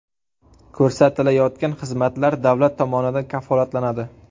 Ko‘rsatilayotgan xizmatlar davlat tomonidan kafolatlanadi.